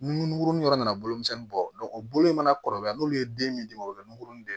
Nunkurunin yɔrɔ nana bolo misɛnnin bɔ o bolo in mana kɔrɔbaya n'olu ye den min di o bɛ nunkuruni de